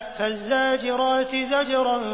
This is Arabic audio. فَالزَّاجِرَاتِ زَجْرًا